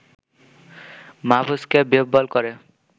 মাহফুজকে বিহ্বল করে